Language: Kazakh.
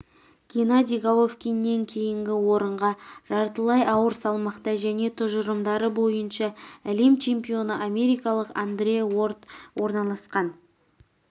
геннадий головкиннен кейінгі орынға жартылай ауыр салмақта және тұжырымдары бойынша әлем чемпионы америкалық андре уорд орналасқан